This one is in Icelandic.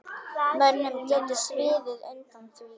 Mönnum getur sviðið undan því.